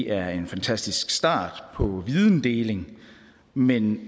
er en fantastisk start på videndeling men